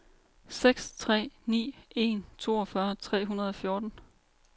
seks tre ni en toogfyrre tre hundrede og fjorten